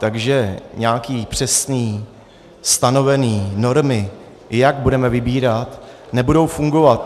Takže nějaké přesné stanovené normy, jak budeme vybírat, nebudou fungovat.